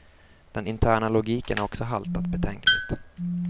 Den interna logiken har också haltat betänkligt.